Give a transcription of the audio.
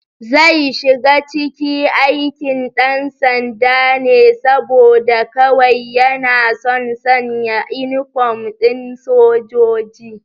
Zai shiga cike aikin ɗansanda ne saboda kawai yana son sanya inifom ɗin sojoji